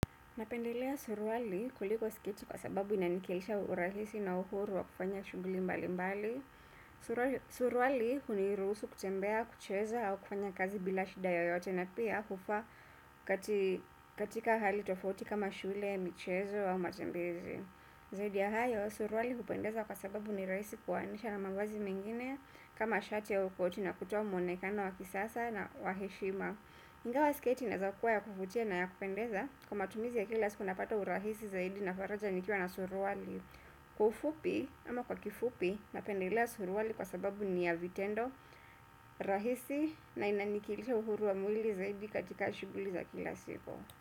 Napendelea suruali kuliko sketi kwa sababu inanikeisha urahisi na uhuru wa kufanya shughuli mbali mbali. Suruali suruali hunirusu kutembea, kucheza au kufanya kazi bila shida yoyote na pia kufaa katika hali tofauti kama shule, michezo au matembezi. Zaidi ya hayo, suruali hupendeza kwa sababu nirahisi kuoanisha na mavazi mengine kama shati au koti na kutoa mwonekano wa kisasa na wa heshima. Naelewa sketi inaweza kuwa ya kuvutia na ya kupendeza kwa matumizi ya kila siku napata urahisi zaidi na faraja nikiwa na suruali ufupi ama kwa kifupi napendelea suruali kwa sababu ni ya vitendo rahisi na inaniwakilisha uhuru wa mwili zaidi katika shughuli za kila siku.